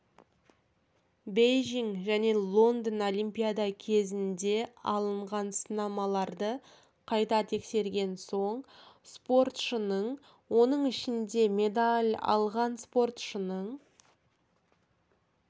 бейжің және лондон олимпиада кезінде алынған сынамаларды қайта тексерген соң спортшының оның ішінде медаль алған спортшының